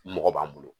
Mɔgɔ b'an bolo